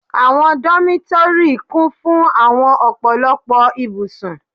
Àwọn dómítórì kún fún àwọn ọ̀pọ̀lọpọ̀ ibùsùn